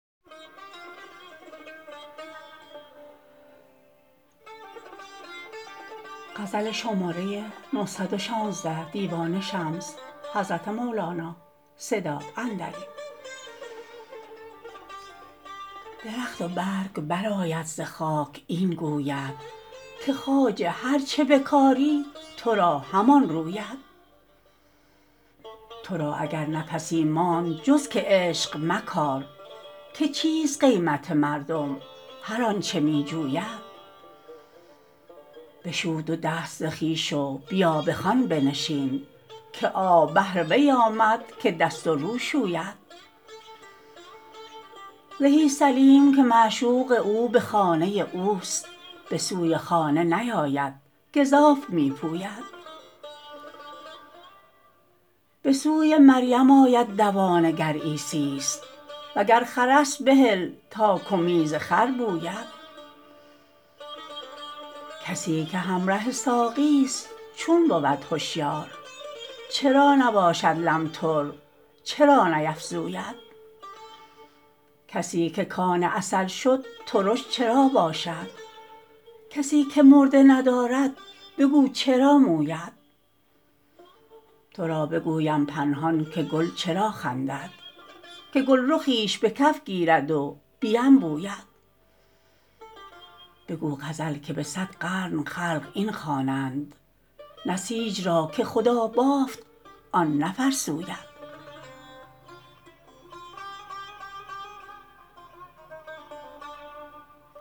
درخت و برگ برآید ز خاک این گوید که خواجه هر چه بکاری تو را همان روید تو را اگر نفسی ماند جز که عشق مکار که چیست قیمت مردم هر آنچ می جوید بشو دو دست ز خویش و بیا به خوان بنشین که آب بهر وی آمد که دست و رو شوید زهی سلیم که معشوق او به خانه اوست به سوی خانه نیاید گزاف می پوید به سوی مریم آید دوانه گر عیسی ست وگر خر است بهل تا کمیز خر بوید کسی که همره ساقی ست چون بود هشیار چرا نباشد لمتر چرا نیفزوید کسی که کان عسل شد ترش چرا باشد کسی که مرده ندارد بگو چرا موید تو را بگویم پنهان که گل چرا خندد که گلرخیش به کف گیرد و بینبوید بگو غزل که به صد قرن خلق این خوانند نسیج را که خدا بافت آن نفرسوید